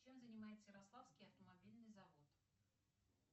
чем занимается ярославский автомобильный завод